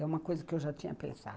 É uma coisa que eu já tinha pensado.